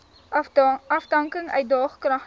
afdanking uitdaag kragtens